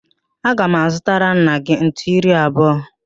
Aga m azụtara nna gị ntu iri abụọ.